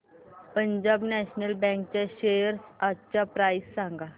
Punjab national bank च्या shares आजची price सांगा